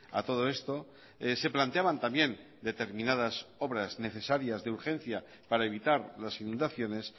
a todo esto se planteaban también determinadas obras necesarias de urgencia para evitar las inundaciones